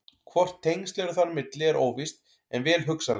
Hvort tengsl eru þar á milli er óvíst en vel hugsanlegt.